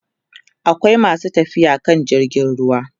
akwai masu tafiya akan jirgin ruwa